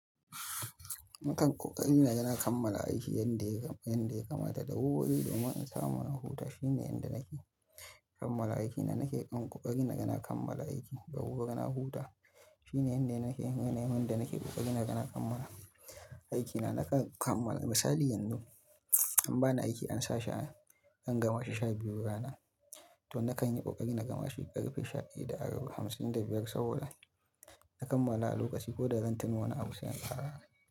Nakan ƙoƙari na kammala aiki yanda yadda ya kamata da wurwuri domin in samu na huta. Shine yadda nake kammala aikina, nake dan ƙoƙari na yana kammala aiki da wuwwuri na huta. Shine yanda nake, mun yana yi, mun da nake ƙoƙari na yana kammala aikina. Nakan kammala misali yanzu an bani aiki in sa shi a an gama shi sha biyu rana, to nakan yi ƙoƙari na gama shi ƙarfe sha ɗaya arba'in da biyar saboda na kammala a lokaci ko da zan tuna wani abu sai an ƙara aiki.